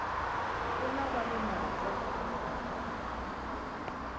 nkuna va lo na twa